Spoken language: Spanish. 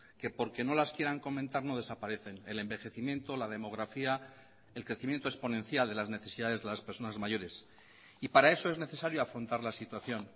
que porque no las quieran comentar no desaparecen el envejecimiento la demografía el crecimiento exponencial de las necesidades de las personas mayores y para eso es necesario afrontar la situación